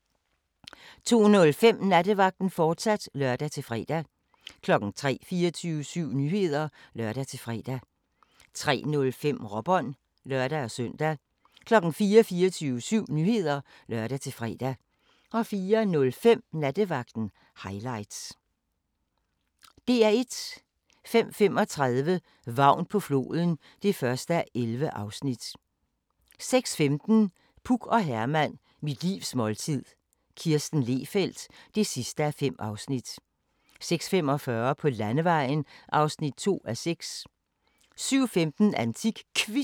12:15: Søren Ryge præsenterer: Uldgrise, jordskokker og en kæmpecirkel * 12:45: Hun så et mord (21:268) 13:30: Hun så et mord (22:268) 14:20: Landsbyhospitalet (Afs. 9) 15:05: Landsbyhospitalet (Afs. 10) 15:55: Nat på museet 2 17:30: Hvem var det nu, vi var? * 18:30: TV-avisen (lør-fre) 19:05: Bjørnefamilien (2:3) 20:00: Rejseholdet (6:32)